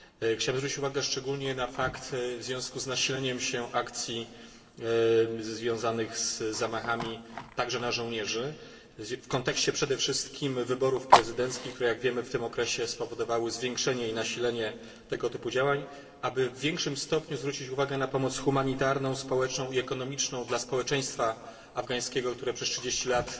Chciałem zwrócić uwagę szczególnie na to w związku z nasileniem się akcji związanych z zamachami na żołnierzy w kontekście przede wszystkim wyborów prezydenckich, które w tym okresie spowodowały zwiększenie i nasilenie tego typu działań aby w większym stopniu zwrócić uwagę na pomoc humanitarną, społeczną i ekonomiczną dla społeczeństwa afgańskiego, które przez 30 lat